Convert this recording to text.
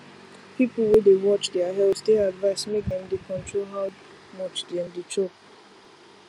people wey dey watch their health dey advised make dem dey control how much dem dey chop